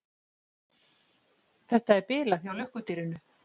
Þetta er bilað hjá lukkudýrinu.